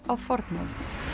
á fornöld